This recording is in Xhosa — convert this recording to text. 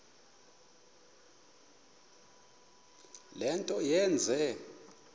le nto yenze